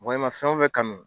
Mɔgɔ i ma fɛn o fɛn kanu.